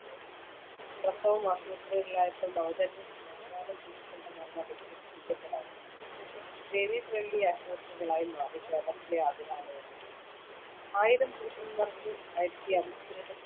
പ്രസവം ആശുപത്രികളിലായപ്പോൾ നവജാത ശിശുക്കളുടെ മരണം report ചെയ്യപ്പെടാതായി. Baby friendly ആശുപത്രികളായി മാറി കേരളത്തിലെ ആതുരാലയങ്ങൾ. ആയിരം പുരുഷൻമാർക്ക്‌ ആയിരത്തിഅമ്പത്തിരണ്ട്‍ സ്‌ത്രീകൾ